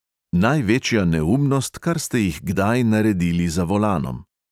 Največja neumnost, kar ste jih kdaj naredili za volanom?